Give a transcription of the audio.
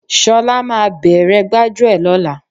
Ṣọlá máa bere gbájúẹ̀ lóla